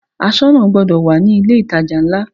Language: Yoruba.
Aṣọ́nà gbọdọ̀ wà ní ilé ìtajà ńlá.